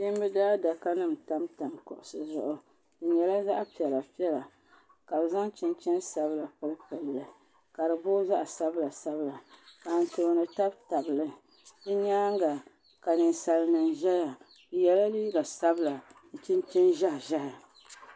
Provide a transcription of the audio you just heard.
Kpiimba daadaka nima n tamtam kuɣusi zaɣu di nyɛla zaɣa piɛla piɛla ka bi zaŋ chinchin sabla pili pili li ka di boogi zaɣa sabla sabla. ka Anfooni tabi tabili di nyaanga ka ninsalinima zaya bi yela liiga sabla ni chinchini ʒehi ʒehi.